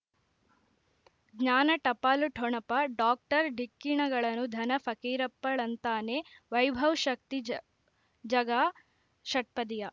ಜ್ಞಾನ ಟಪಾಲು ಠೊಣಪ ಡಾಕ್ಟರ್ ಢಿಕ್ಕಿ ಣಗಳನು ಧನ ಫಕೀರಪ್ಪ ಳಂತಾನೆ ವೈಭವ್ ಶಕ್ತಿ ಝ ಝಗಾ ಷಟ್ಪದಿಯ